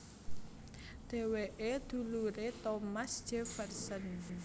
Dhéwéké duluré Thomas Jefferson